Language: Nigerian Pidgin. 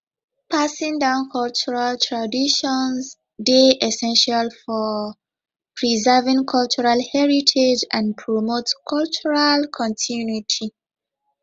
passing down cultural traditions dey essential for preserving cultural heritage and promote cultural continuity